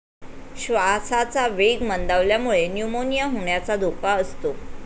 श्वासाचा वेग मंदावल्यामुळे 'न्यूमोनिया' होण्याचा धोका असतो.